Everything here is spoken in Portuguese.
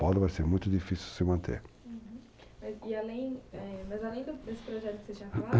Paulo será muito difícil se manter. Uhum. Mas e além, é, além desse projeto que você tinha falado.